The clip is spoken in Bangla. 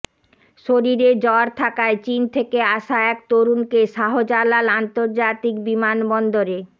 শরীরে জ্বর থাকায় চীন থেকে আসা এক তরুণকে শাহজালাল আন্তর্জাতিক বিমানবন্দরে